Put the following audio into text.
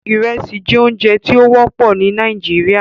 Iresi jẹ ounjẹ ti o wọpọ ni Nigeria